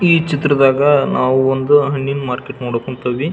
ಈ ಚಿತ್ರದಗ್ ನಾವು ಒಂದು ಹಣ್ಣಿನ್ ಮಾರ್ಕೆಟ್ ನೋಡಕುಂತ್ತೀವಿ.